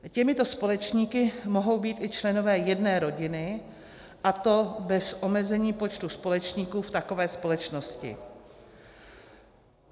Těmito společníky mohou být i členové jedné rodiny, a to bez omezení počtu společníků v takové společnosti.